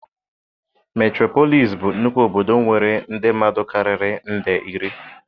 Meturopolis bụ nnukwu obodo nwere ndị mmadụ karịrị nde iri.